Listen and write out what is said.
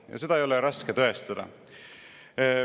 Ja seda ei ole raske tõestada.